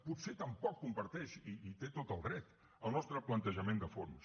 potser tampoc comparteix i hi té tot el dret el nostre plantejament de fons